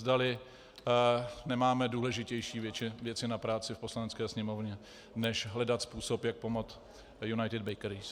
Zdali nemáme důležitější věci na práci v Poslanecké sněmovně než hledat způsob, jak pomoct United Bakeries.